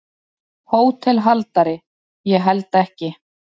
HÓTELHALDARI: Ég held ekki.